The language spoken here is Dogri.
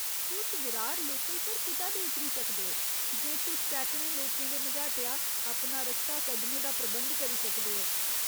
तुस विरार लोकल पर कुतै बी उतरी सकदे ओ जे तुस सैकड़ें लोकें दे मझाटेआ अपना रस्ता कड्ढने दा प्रबंध करी सकदे ओ।